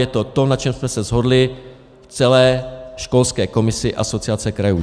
Je to to, na čem jsme se shodli v celé školské komisi Asociace krajů.